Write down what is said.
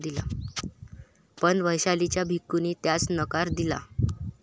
पण वैशालीच्या भिक्कूंनी त्यास नकार दिला.